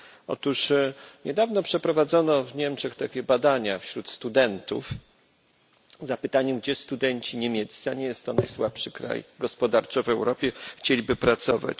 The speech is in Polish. Otóż niedawno przeprowadzono w Niemczech takie badania wśród studentów z zapytaniem, gdzie studenci niemieccy, a nie jest to najsłabszy kraj gospodarczo w Europie, chcieliby pracować.